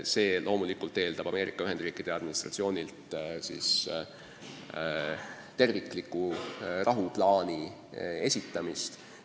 See loomulikult eeldab Ameerika Ühendriikide valitsuselt tervikliku rahuplaani esitamist.